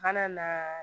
A kana na